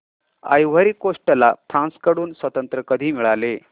ivory Coast ला France कडून स्वातंत्र्य कधी मिळाले